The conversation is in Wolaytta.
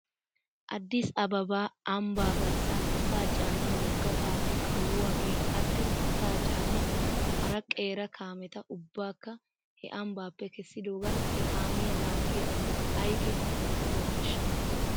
Addis ababa ambbaa garssan asaa caaniyaa wogga kaamee kawuwaagee attin asaa caaniyaa hara qeera kaameta ubbaakka he ambbaappe kessidoogan he kaamiyaa laaggiyaa asati aykeenaa qohettidonaashsha?